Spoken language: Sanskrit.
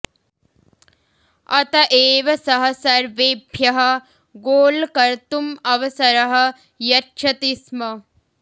अत एव सः सर्वेभ्यः गोल् कर्तुम् अवसरः यच्छति स्म